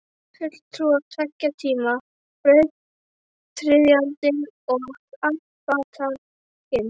Fulltrúar tveggja tíma, brautryðjandinn og arftakinn.